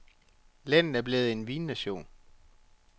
Landet er blevet en vinnation.